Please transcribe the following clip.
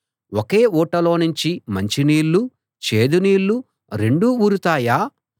ఒకే ఊటలోనుంచి మంచి నీళ్ళు చేదు నీళ్ళు రెండూ ఊరుతాయా